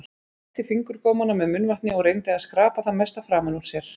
Hún vætti fingurgómana með munnvatni og reyndi að skrapa það mesta framan úr sér.